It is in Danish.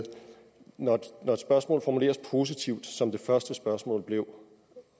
når et spørgsmål formuleres positivt som det første spørgsmål blev